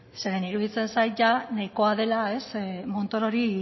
zeren iruditzen zait jada nahikoa dela montorori